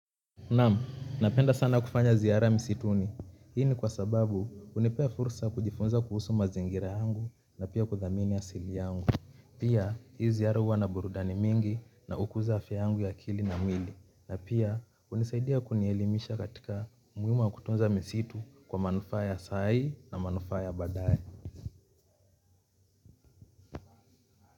Naam, napenda sana kufanya ziara msituni. Hi ni kwasababu, unipea fursa kujifunza kuhusu mazingira yangu na pia kuthamini asili yangu. Pia, hizi aruwa na burudani mingi na ukuza afia yangu ya akili na mwili. Na pia, unisaidia kunielimisha katika muhimu wa kutunza misitu kwa manufaa ya sai na manufaa ya badaye.